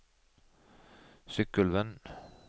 Sykkylven